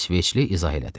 İsveçli izah elədi.